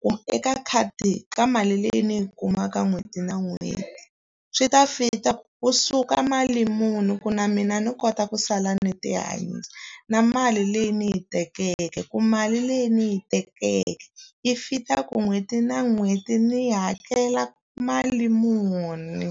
kumbe eka khadi ka mali leyi ndzi yi kumaka n'hweti na n'hweti. Swi ta fit-a kusuka mali muni ku na mina ni kota ku sala ni ti hanyisa. Na mali leyi ndzi yi tekeke, ku mali leyi ndzi yi tekeke yi fit-a ku n'hweti na n'hweti ni hakela mali muni.